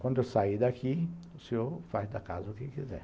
Quando eu sair daqui, o senhor faz da casa o que quiser.